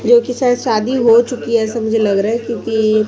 जो कि शायद शादी हो चुकी है ऐसा मुझे लग रहा है क्योंकि--